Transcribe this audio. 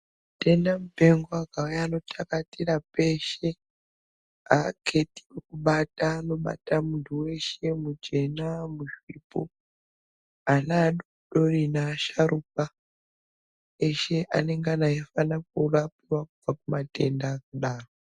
Mitenda mupengo akauya anotakashira peshe aketi wekubata muntu weshe ena uripo ana adodori asharukwa eshe anongana euvapo kubva kumatenda kudaro.